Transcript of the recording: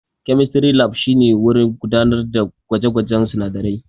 Chemistry Lab shine wurin gudanar da gwaje-gwajen sunadarai.